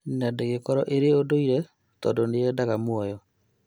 Na dĩngĩkorwo ĩrĩ ũndũire tondũ nĩyendaga mũoyo